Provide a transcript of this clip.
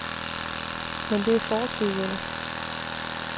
Men det er fortid, venner.